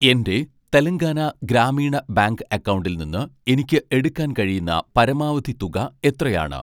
എൻ്റെ തെലങ്കാന ഗ്രാമീണ ബാങ്ക് അക്കൗണ്ടിൽ നിന്ന് എനിക്ക് എടുക്കാൻ കഴിയുന്ന പരമാവധി തുക എത്രയാണ്